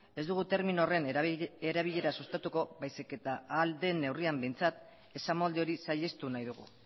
ez dugu termino horren erabilera sustatuko baizik eta ahal den neurrian behintzat esamolde hori saihestu nahi dugu